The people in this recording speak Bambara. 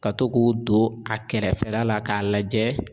Ka to k'o don a kɛrɛfɛla la k'a lajɛ